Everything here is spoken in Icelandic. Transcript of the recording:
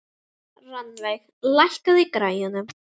Rannveig, lækkaðu í græjunum.